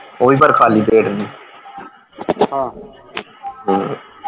ਉਹ ਵੀ ਪਰ ਖਾਲੀ ਪੇਟ ਨਹੀਂ ਹਮ